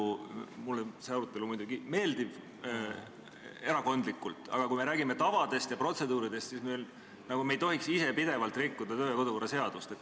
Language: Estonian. Mulle oma erakonna liikmena see arutelu muidugi meeldib, aga kui me räägime tavadest ja protseduuridest, siis me ei tohiks ise pidevalt kodu- ja töökorra seadust rikkuda.